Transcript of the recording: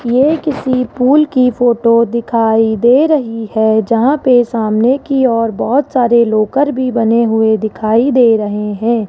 ये किसी पूल की फोटो दिखाई दे रही है जहां पे सामने की ओर बहुत सारे लॉकर भी बने हुए दिखाई दे रहे हैं।